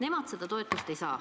Nemad seda toetust ei saa.